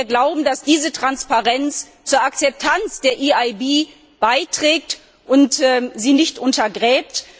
Wir glauben, dass diese Transparenz zur Akzeptanz der EIB beiträgt und sie nicht untergräbt.